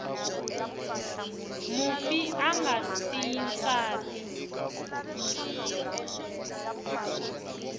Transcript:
mufi a nga siyi nsati